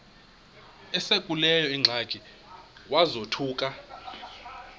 esekuleyo ingxaki wazothuka